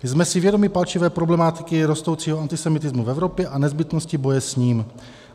Jsme si vědomi palčivé problematiky rostoucího antisemitismu v Evropě a nezbytnosti boje s ním.